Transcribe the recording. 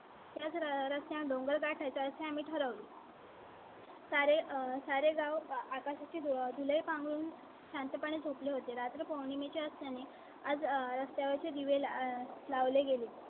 त्याच रस्त्या डोंगर गाठायचा असे आम्ही ठरवले . सारे सारे गाव आकाशा ची धुलाई पाहून शांतपणे झोपले होते. रात्री पौर्णिमे च्या सणा ने आज रस्त्यावर चे दिवे लाही लावले गेले.